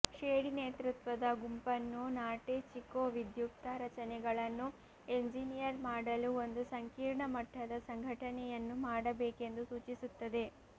Shady ನೇತೃತ್ವದ ಗುಂಪನ್ನು Norte Chico ವಿಧ್ಯುಕ್ತ ರಚನೆಗಳನ್ನು ಎಂಜಿನಿಯರ್ ಮಾಡಲು ಒಂದು ಸಂಕೀರ್ಣ ಮಟ್ಟದ ಸಂಘಟನೆಯನ್ನು ಮಾಡಬೇಕೆಂದು ಸೂಚಿಸುತ್ತದೆ